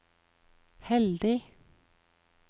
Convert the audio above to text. heldig